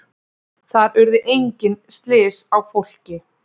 Þar urðu engin slys á fólki